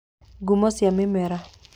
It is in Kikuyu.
Ngumo cia mĩmera